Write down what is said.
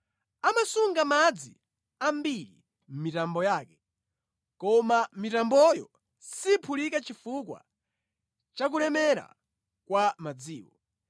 Amasunga madzi ambiri mʼmitambo yake, koma mitamboyo siphulika chifukwa cha kulemera kwa madziwo.